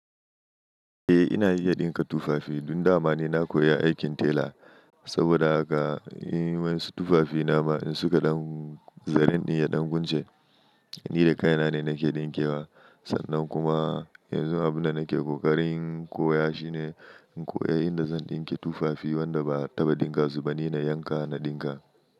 Eh ina iya ɗinka tufafi. Dun dama ne na koya aikin tela saboda haka. Wan su tufafi nama in suka ɗan zarinnin ya ɗan gunce, ni da kai na ne nake ɗinkewa. Sannan kuma yanzu abun da nake ƙoƙarin koya shi ne in koya inda zan ɗinke tufafi wanda ba taba dinga su ba ni na yanka na ɗinka.